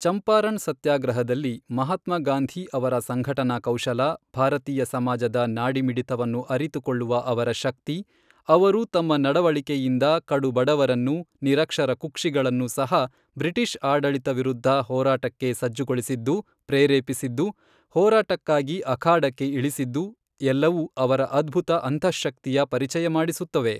ಚಂಪಾರಣ್ ಸತ್ಯಾಗ್ರಹದಲ್ಲಿ ಮಹಾತ್ಮಾ ಗಾಂಧೀ ಅವರ ಸಂಘಟನಾ ಕೌಶಲ, ಭಾರತೀಯ ಸಮಾಜದ ನಾಡಿ ಮಿಡಿತವನ್ನು ಅರಿತುಕೊಳ್ಳುವ ಅವರ ಶಕ್ತಿ, ಅವರು ತಮ್ಮ ನಡವಳಿಕೆಯಿಂದ ಕಡು ಬಡವರನ್ನು, ನಿರಕ್ಷರ ಕುಕ್ಷಿಗಳನ್ನು ಸಹ ಬ್ರಿಟಿಷ್ ಆಡಳಿತ ವಿರುದ್ಧ ಹೋರಾಟಕ್ಕೆ ಸಜ್ಜುಗೊಳಿಸಿದ್ದು, ಪ್ರೇರೆಪಿಸಿದ್ದು, ಹೋರಾಟಕ್ಕಾಗಿ ಅಖಾಡಕ್ಕೆ ಇಳಿಸಿದ್ದು ಎಲ್ಲವೂ ಅವರ ಅದ್ಭುತ ಅಂತಃಶಕ್ತಿಯ ಪರಿಚಯ ಮಾಡಿಸುತ್ತವೆ.